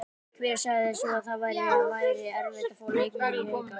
Hver sagði svo að það væri erfitt að fá leikmenn í Hauka?